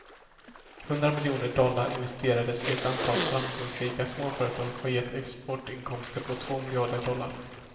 Hundra miljoner dollar investerade i ett antal framgångsrika småföretag har gett exportinkomster på två miljarder dollar.